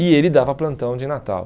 E ele dava plantão de Natal.